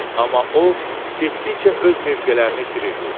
Amma o getdikcə öz mövqelərini itirirdi.